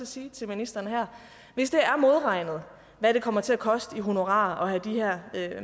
sige til ministeren her hvis det er modregnet hvad det kommer til at koste i honorarer at have de her